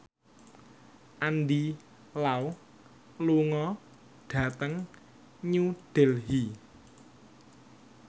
Andy Lau lunga dhateng New Delhi